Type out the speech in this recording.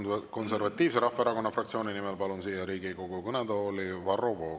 Ja Eesti Konservatiivse Rahvaerakonna fraktsiooni nimel kõnelema palun siia Riigikogu kõnetooli Varro Vooglaiu.